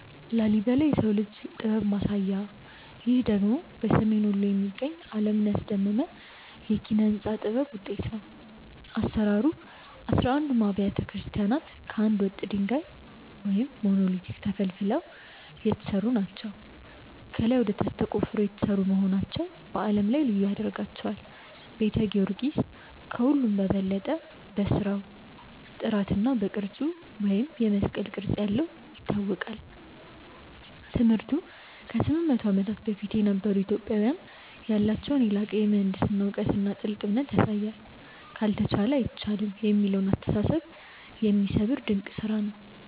ላሊበላ (Lalibela) - "የሰው ልጅ ጥበብ ማሳያ" ይህ ደግሞ በሰሜን ወሎ የሚገኝ፣ ዓለምን ያስደመመ የኪነ-ሕንጻ ጥበብ ውጤት ነው። አሰራሩ፦ አሥራ አንዱም አብያተ ክርስቲያናት ከአንድ ወጥ ድንጋይ (Monolithic) ተፈልፍለው የተሰሩ ናቸው። ከላይ ወደ ታች ተቆፍረው የተሰሩ መሆናቸው በዓለም ላይ ልዩ ያደርጋቸዋል። ቤተ ጊዮርጊስ፦ ከሁሉም በበለጠ በሥራው ጥራትና በቅርጹ (የመስቀል ቅርጽ ያለው) ይታወቃል። ትምህርቱ፦ ከ800 ዓመታት በፊት የነበሩ ኢትዮጵያውያን ያላቸውን የላቀ የምህንድስና እውቀትና ጥልቅ እምነት ያሳያል። "ካልተቻለ አይቻልም" የሚለውን አስተሳሰብ የሚሰብር ድንቅ ስራ ነው።